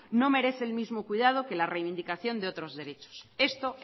no merece el mismo cuidado que la reivindicación de otros derechos esto